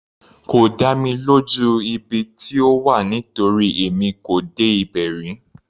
Kò dá mi lójú ibi tí ó wà nítorí èmi kò dé ibẹ̀ rí.